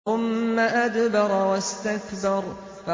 ثُمَّ أَدْبَرَ وَاسْتَكْبَرَ